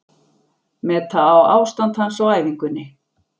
Meta á ástand hans á æfingunni.